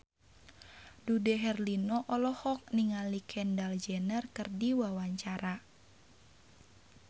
Dude Herlino olohok ningali Kendall Jenner keur diwawancara